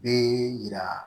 Bɛ yira